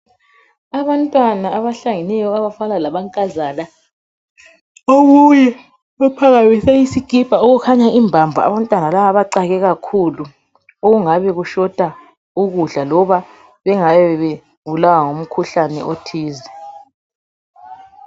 Abantwana abahlangeneyo abafana lamankazana omunye uphakamise isikipa okukhanya imbambo abantwana laba bacake kakhulu okungabe kushota ukudla loba bengabe begula umkhuhlane othize.